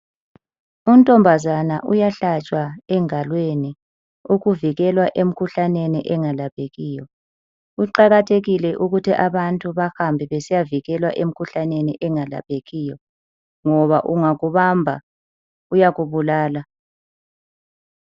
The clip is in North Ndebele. Untombazana uyahlatshwa engalweni ukuvikelwa emikhuhlaneni engalaphekiyo. Kuqakathekile ukuthi abantu bahambe besiyavikelwa emkhuhlaneni engalaphekiyo ngoba ungakubamba uyakubulala.